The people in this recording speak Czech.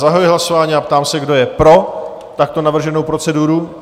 Zahajuji hlasování a ptám se, kdo je pro takto navrženou proceduru?